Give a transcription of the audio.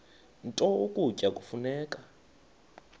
nto ukutya kufuneka